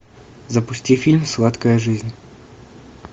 запусти фильм сладкая жизнь